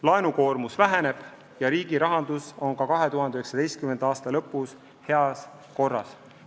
Laenukoormus väheneb ja riigi rahandus on ka 2019. aasta lõpus heas korras.